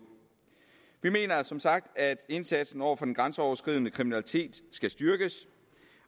vi mener som sagt at indsatsen over for den grænseoverskridende kriminalitet skal styrkes